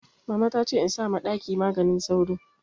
Mama ta ce in sa ma ɗaki maganin sauro